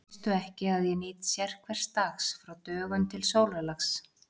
Veistu ekki, að ég nýt sérhvers dags frá dögun til sólarlags?